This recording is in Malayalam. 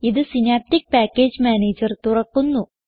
ഇത് സിനാപ്റ്റിക് പാക്കേജ് മാനേജർ തുറക്കുന്നു